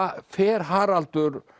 fer Haraldur